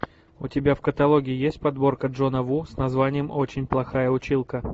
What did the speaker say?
у тебя в каталоге есть подборка джона ву с названием очень плохая училка